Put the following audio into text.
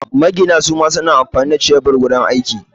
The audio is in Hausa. Magina suma suna amfani da shebur wajan aiki